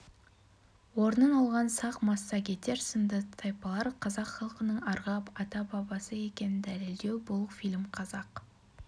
орнын алған сақ массагетер сынды тайпалар қазақ халқының арғы ата-бабасы екенін дәлелдеу бұл фильм қазақ